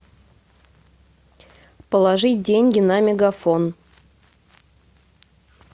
положить деньги на мегафон